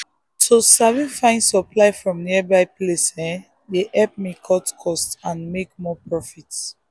to sabi find supplies from nearby place dey help me cut cost and make more profit.